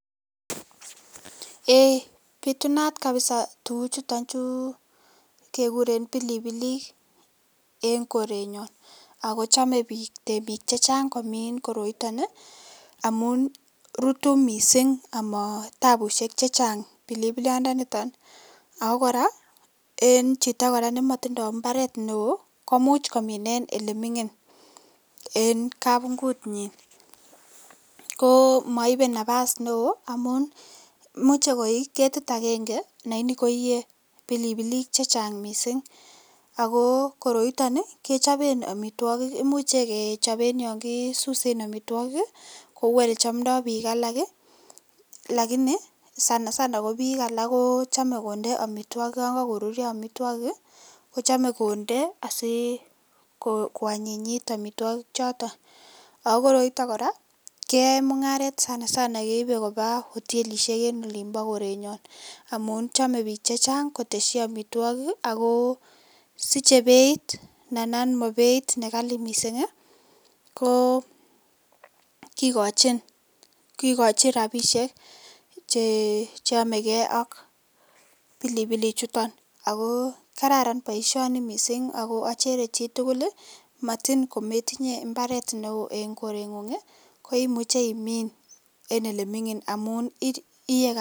Eeii bitunat kabisaa tukuchuton chuu kekuren pilipilik en korenyon ak ko chome biik temiik chechang komin koroiton amun rutu mising amatabushek chechang pilipiliondoniton ak ko kora en chito nemotindo imbaret neoo komuch komin en eleming'in en kabungu'nyin, ko moibe nabas neoo amun muche koik ketit akeng'e lakini koiye pilipilik chechang mising ak ko koroiton kechoben amitwokik imuche kechoben yoon kisusen amitwokik kouu elechomndo biik alak lakini sana sana ko biik alak kochome konde amitwokik yoon kokorurio amitwokik kochome konde asii kwanyinyit amitwoki choton ak ko koroiton kora keyoen mung'aret sana sana keibe kobaa hotelishek en olimbo korenyon amun chome biik chechang kotesyi amitwokik ak ko siche beit ndandan mobeit nekali mising ko kikochin, kikochin rabishek chenomekee ak pilipilichuton ak ko kararan boishoni mising ak ko achere chitukul matin kometinye imbaret neoo en koreng'ung ko imuche imiin en eleming'in amun iyoe.